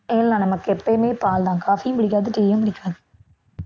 இல்லை நமக்கு எப்பயுமே பால்தான் coffee யும் பிடிக்காது tea யும் பிடிக்காது